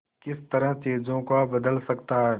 किस तरह चीजों को बदल सकता है